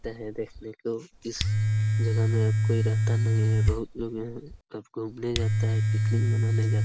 देखने को इस जगह में कोई रहता नहीं है। बहुत लोग यहाँ घूमने जाता है पिकनिक मनाने जात --